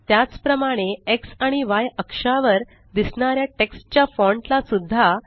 त्याच प्रमाणे एक्स आणि य अक्षावर दिसणाऱ्या टेक्स्ट च्या फॉण्ट ला सुद्धा